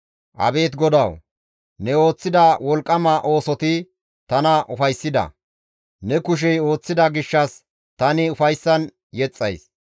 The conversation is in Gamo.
Abeet GODAWU! Ne ooththida wolqqama oosoti tana ufayssida; ne kushey ooththida gishshas tani ufayssan yexxays.